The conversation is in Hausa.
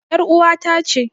ƴar uwata ce.